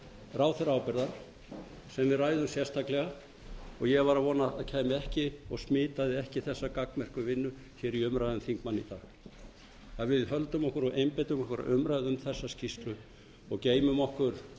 ráðherraábyrgðar sem við ræðum sérstaklega og ég var að vona að kæmi ekki og smitaði ekki þessa gagnmerku vinnu í umræðum þingmanna í dag að við höldum okkur og einbeitum okkur að umræðum um þessa skýrslu og geymum okkar